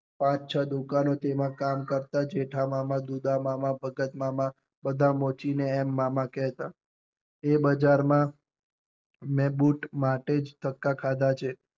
પાંચ છ દુકાન તેમાં કે કરતા જેઠામામા દુધમમાં ભગતમામાં બધા ને મામા કેહતાએ બજાર માં મેં બુટ માટેજ ધક્કા ખાધા છે મોચી ને